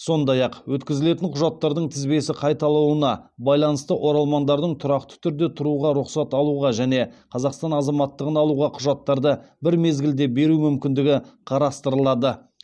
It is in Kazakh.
сондай ақ өткізілетін құжаттардың тізбесі қайталауына байланысты оралмандардың тұрақты түрде тұруға рұқсат алуға және қазақстан азаматтығын алуға құжаттарды бір мезгілде беру мүмкіндігі қарастырылады